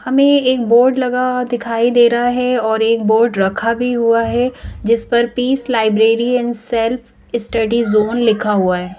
हमें एक बोर्ड लगा दिखाई दे रहा है और एक बोर्ड रखा भी हुआ है जिस पर peace library and self study zone लिखा हुआ है ।